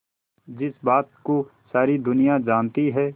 जिस बात को सारी दुनिया जानती है